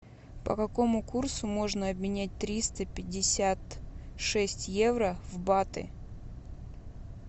по какому курсу можно обменять триста пятьдесят шесть евро в баты